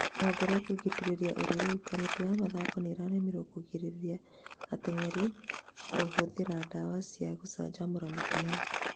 Rũhonge rwa kũgĩrĩria ũrĩu: Kamĩtĩ ya mathako nĩrarimirwo kũgirĩria ateng'eri kũhũthĩra ndawa cia gũcanjamũra mĩkiha